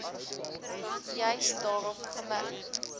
juis daarop gemik